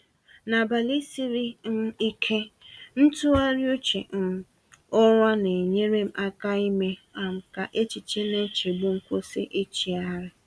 N’abalị siri um ike, ntụgharị uche um ụra na-enyere m aka ime um ka echiche na nchegbu m kwụsị ịchịgharị.